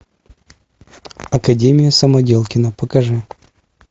академия самоделкина покажи